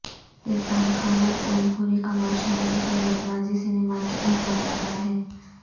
عرفان خان اور اوم پوری کمرشیل کے ساتھ متوازی سینیما کے اہم اداکار ہیں